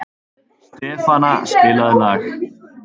Stefana, spilaðu lag.